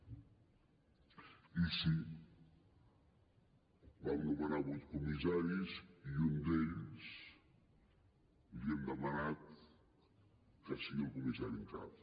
i sí vam nomenar vuit comissaris i a un d’ells li hem demanat que sigui el comissari en cap